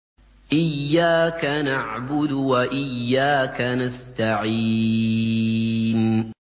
إِيَّاكَ نَعْبُدُ وَإِيَّاكَ نَسْتَعِينُ